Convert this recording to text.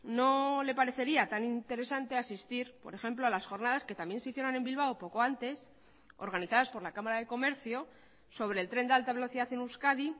no le parecería tan interesante asistir por ejemplo a las jornadas que también se hicieron en bilbao poco antes organizadas por la cámara de comercio sobre el tren de alta velocidad en euskadi